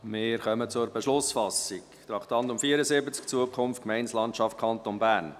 Wir kommen zur Beschlussfassung zum Traktandum 74, «Zukunft Gemeindelandschaft Kanton Bern».